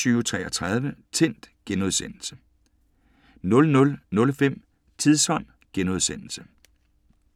00:05: Tidsånd *